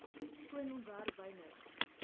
skoon ontwerp wynig